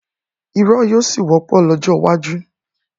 irọ́ yóò ṣì wọ́pọ̀ lọ́jọ́ iwájú.